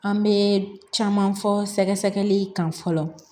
An bɛ caman fɔ sɛgɛsɛgɛli kan fɔlɔ